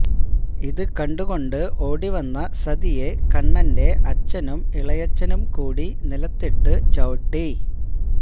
ഇത് കണ്ടുകൊണ്ട് ഓടിവന്ന സതിയെ കണ്ണന്റെ അച്ഛനും ഇളയച്ചനും കൂടി നിലത്തിട്ടു ചവിട്ടി